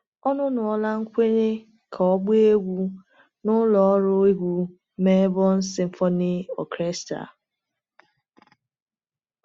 Ọnụnọla nkwenye ka ọ gbaa egwu n’ụlọ ọrụ egwu Melbourne Symphony Orchestra.